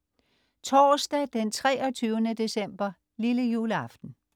Torsdag den 23. december - Lillejuleaften